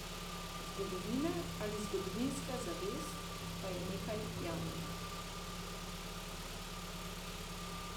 Zgodovina ali zgodovinska zavest pa je nekaj javnega.